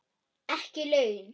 Ekki laun.